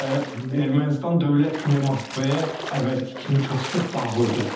Və Ermənistan dövlət kimi Moskvaya əvvəlki kimi çox sıx bağlıdır.